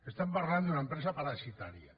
estem parlant d’una empresa parasitària